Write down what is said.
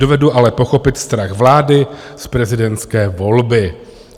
Dovedu ale pochopit strach vlády z prezidentské volby."